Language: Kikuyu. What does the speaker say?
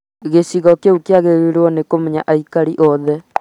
gĩcigo kĩu kĩagĩrĩirwo nĩ kũmenya aikari othe